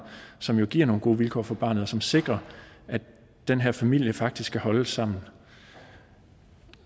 så man giver nogle gode vilkår for barnet som sikrer at den her familie faktisk kan holde sammen